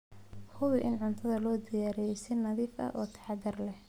Hubi in cuntada loo diyaariyey si nadiif ah oo taxadar leh.